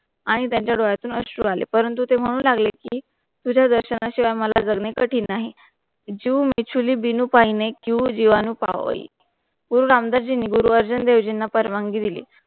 आणि त्याचा रोयातून असलं आले परंतु ते मानहून लागले कि तुच्या दक्षणाशिवा मला जगनिर कठीन नाही जो मेचुली बिनु पहिने क्यू जीवन्नो पाहोली गुरु रामदास जींनी गुरु अर्जुन देवजींना परवानगी दिली.